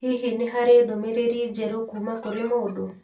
Hihi nĩ harĩ ndũmĩrĩri njerũ kuuma kũrĩ mũndũ